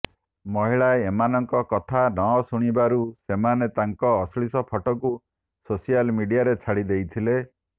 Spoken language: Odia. ମହିଳା ଏମାନଙ୍କ କଥା ନଶୁଣିବାରୁ ସେମାନେ ତାଙ୍କ ଅଶ୍ଳୀଳ ଫଟୋକୁ ସୋସିଆଲ ମିଡିଆରେ ଛାଡ଼ି ଦେଇଥିଲେ